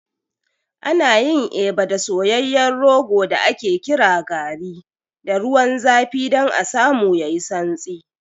Ana yin Eba da soyayyen rogo da ake kira garri da ruwan zafi don a samu yayi santsi.